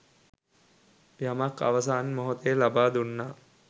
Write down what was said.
යමක් අවසන් මෙහොතේ ලබා දුන්නා